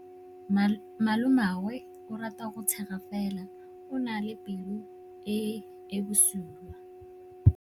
Malomagwe o rata go tshega fela o na le pelo e e bosula.